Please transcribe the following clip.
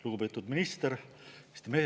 Lugupeetud minister!